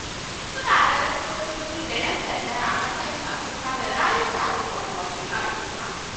Wasu na ganin sojoji da ‘yan sanda a matsayin masu kare rayuka da dukiyoyin al’umma.